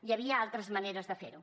hi havia altres maneres de fer ho